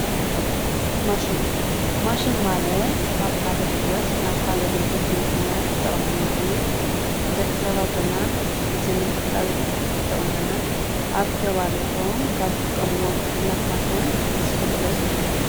ማሽን ፦ማሽን ማለት ካብ ሓደ ካብ ካሊእ ጉልበት ናብ ካሊእ ጉልበት ንምቅያር ዝጠቅመና እዩ። ንደቂ ሰባት ድማ ግዜ ንምቁጣብ ይጠቅመና። ኣብ ከባቢኩም ካብ እትጥቀሙሎም ማሽን እስኪ ግለፅሉና?